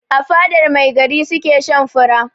A fadar mai gari su ke shan fura.